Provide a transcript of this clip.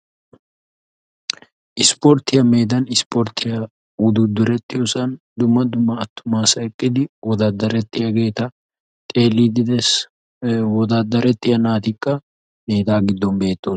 Isporttiya meedan isporttiya wuduuddurettiyosan dumma dumma attuma asay eqqidi wodaaddarettiyageeta xeelliiddi dees. Ee wodaaddarettiya naatikka hegaa giddon beettoo.